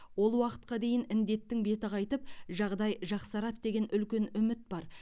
ол уақытқа дейін індеттің беті қайтып жағдай жақсарады деген үлкен үміт бар